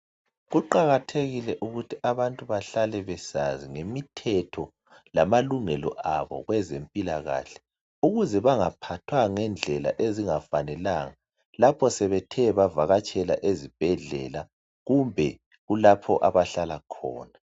Kuqakathekile ukuthi abantu bahlale besazi ngemithetho lamalungelo abo kwezempilakahle ukuze bangaphathwa ngendlela ezingafanelanga. Lapho sebethe bavakatshela ezibhedlela kumbe kulapho abahlala khona.